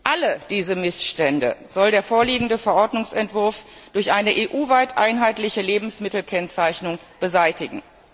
Alle diese Missstände soll der vorliegende Verordnungsentwurf durch eine EU weit einheitliche Lebensmittelkennzeichnung beseitigen.